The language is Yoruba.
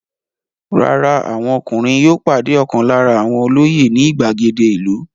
Rárá, àwọn ọkùnrin yóò pàdé ọ̀kan lára àwọn olóyè ní ìgbàgede ìlú.